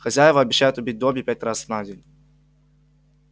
хозяева обещают убить добби пять раз на день